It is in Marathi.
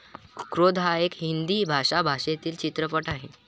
क्रोध हा एक हिंदी भाषा भाषेतील चित्रपट आहे.